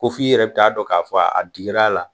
Ko f'i yɛrɛ bi taa a dɔn k'a fɔ a dikir'a la.